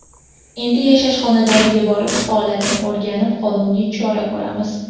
Endi yashash xonadoniga borib, holatni o‘rganib, qonuniy chora ko‘ramiz.